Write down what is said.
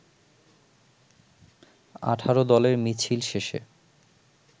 ১৮ দলের মিছিল শেষে